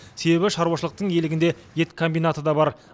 себебі шаруашылықтың иелігінде ет комбинаты да бар